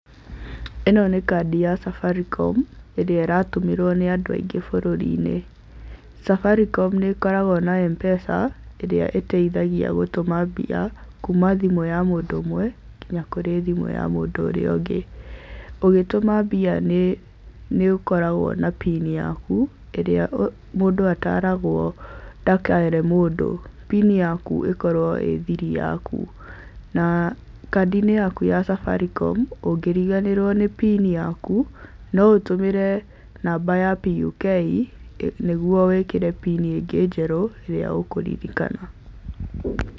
Ĩno nĩ kandi ya safaricom, ĩrĩa ĩratũmĩrwo nĩ andũ aingĩ bũrũri-inĩ. Safaricom nĩ ĩkoragwo na mpesa ĩrĩa ĩteithagia gũtũma mbia kuma thimũ ya mũndũ ũmwe nginya kũrĩ thimũ ya mũndũ ũrĩa ũngĩ. Ũgĩtũma mbia nĩ ũkoragwo na pin yaku ĩrĩa mũndũ ataragwo ndakere mũndũ, pin yaku ĩkorwo ĩ thiri yaku. Na kandi-inĩ yaku ya safaricom ũngĩriganĩrwo nĩ pin yaku, no ũtũmĩre namba ya PUK nĩguo wĩkĩre pin ĩngĩ njerũ ĩrĩa ũkũririkana.